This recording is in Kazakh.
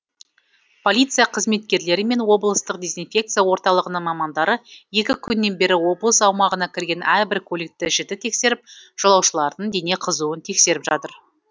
полиция қызметкерлері мен облыстық дезинфекция орталығының мамандары екі күннен бері облыс аумағына кірген әрбір көлікті жіті тексеріп жолаушылардың дене қызыуын тексеріп жатыр